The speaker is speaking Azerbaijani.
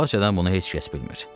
Qabaqcadan bunu heç kəs bilmir.